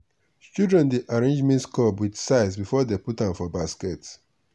children dey arrange maize cob with size before dey put am for basket.